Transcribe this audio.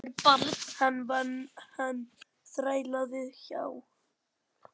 Hann vann, hann þrælaði hjá